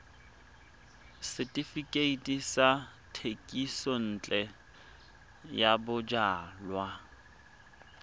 setefikeiti sa thekisontle ya bojalwa